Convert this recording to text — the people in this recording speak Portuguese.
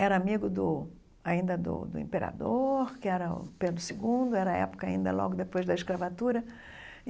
era amigo do ainda do do imperador, que era o Pedro segundo, era a época ainda logo depois da escravatura.